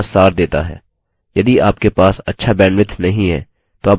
यह spoken tutorial project का सार देता है